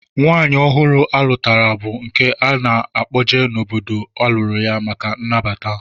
Nwaanyị ọhụrụ a lụtara bụ nke a na-akpọje n'obodo a lụrụ ya maka nnabata